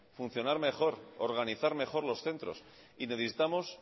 funcionar mejor organizar mejor los centros y necesitamos